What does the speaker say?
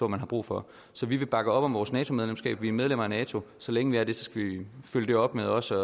man har brug for så vi vil bakke op om vores nato medlemskab vi er medlemmer af nato så længe vi er det skal vi følge det op med også